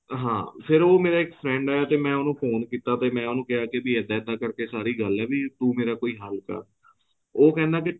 ਹਾਂ ਫ਼ੇਰ ਉਹ ਮੇਰਾ ਇੱਕ friend ਹੈ ਮੈਂ ਉਹਨੂੰ ਫੋਨ ਕੀਤਾ ਤੇ ਮੈਂ ਉਹਨੂੰ ਕਿਹਾ ਕੀ ਇੱਦਾਂ ਇੱਦਾਂ ਕਰਕੇ ਸਾਰੀ ਗੱਲ ਹੈ ਵੀ ਤੂੰ ਮੇਰਾ ਕੋਈ ਹੱਲ ਕਰ ਉਹ ਕਹਿੰਦਾ ਕੀ